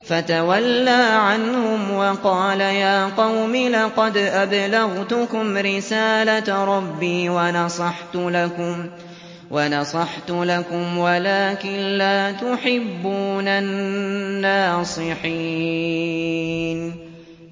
فَتَوَلَّىٰ عَنْهُمْ وَقَالَ يَا قَوْمِ لَقَدْ أَبْلَغْتُكُمْ رِسَالَةَ رَبِّي وَنَصَحْتُ لَكُمْ وَلَٰكِن لَّا تُحِبُّونَ النَّاصِحِينَ